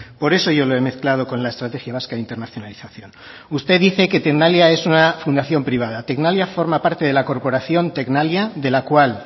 por eso yo le he mezclado con la estrategia vasca de internacionalización usted dice que tecnalia es una fundación privada tecnalia forma parte de la corporación tecnalia de la cual